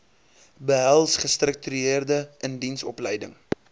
behels gestruktureerde indiensopleiding